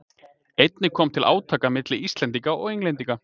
Einnig kom til átaka milli Íslendinga og Englendinga.